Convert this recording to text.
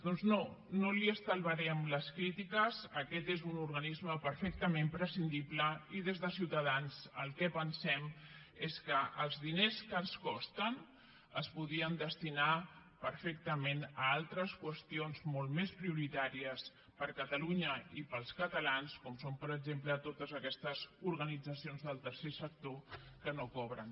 doncs no no li estalviarem les crítiques aquest és un organisme perfectament prescindible i des de ciutadans el que pensem és que els diners que ens consta es podrien destinar perfectament a altres qüestions molt més prioritàries per a catalunya i per als catalans com són per exemple totes aquestes organitzacions del tercer sector que no cobren